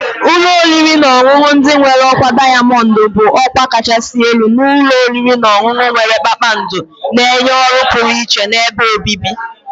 Ụlọ oriri na ọṅụṅụ ndị nwere ọkwa diamond bụ ọkwa kachasị elu nke ụlọ oriri na ọṅụṅụ nwere kpakpando, na-enye ọrụ pụrụ iche na ebe obibi.